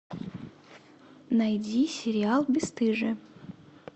найди сериал бесстыжие